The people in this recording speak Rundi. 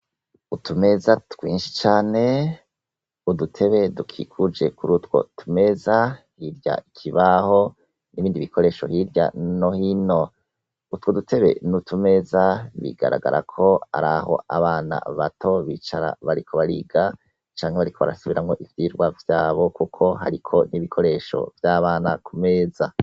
Utumeza twinshi cane udutebe dukikuje kurutwo tumeza kirya kibaho nibindi bikoresho hirya no hino utwo dutebe nutumeza bigaragarako abana bato bicara bariko bariga canke bariko barasubiramwo ivyirwa vyabo kuko hariko nibikoresho vyabana baho kumeza